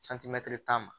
tan ma